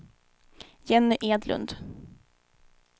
Jenny Edlund